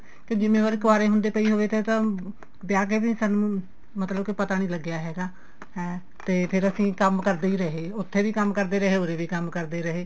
ਤੇ ਜਿੰਮੇਵਾਰੀ ਕੁਆਰੇ ਹੁੰਦੇ ਪਈ ਹੋਵੇ ਤਾਂ ਵਿਆਹ ਕੇ ਵੀ ਸਾਨੂੰ ਮਤਲਬ ਕੀ ਪਤਾ ਨੀ ਲੱਗਿਆ ਹੈਗਾ ਹੈ ਤੇ ਫੇਰ ਅਸੀਂ ਕੰਮ ਕਰਦੇ ਹੀ ਰਹੇ ਉੱਥੇ ਵੀ ਕੰਮ ਕਰਦੇ ਰਹੇ ਉਰੇ ਵੀ ਕੰਮ ਕਰਦੇ ਰਹੇ